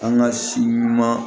An ka si ɲuman